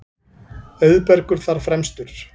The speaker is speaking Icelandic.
Auðbergur þar fremstur.